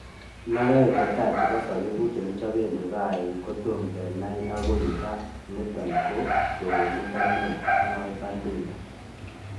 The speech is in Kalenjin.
"Lokoek chetaa chebo zabibuk chekichopen divai ko tom kenai akoi ra niton ko kewelindo neo "mwoe Baldinger